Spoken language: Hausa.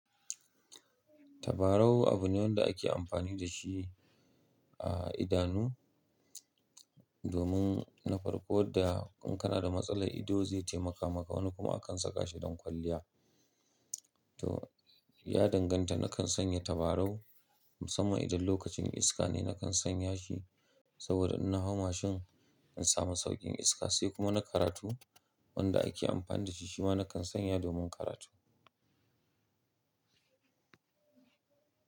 Tabarau abu ne wanda ake amfani da shi a idanu domin na farko wadda in kana da matsalar ido zai taimaka maka. Wani kuma akansa kashi don kwalliya. To ya danganta, nakan sanya tabarau musamman idan lokacin iska ne nakan sanya shi saboda in na hau mashin in samu sauƙin iska sai kuma na karatu wanda ake amfani da shi. Shi ma nakan sanya domin karatu.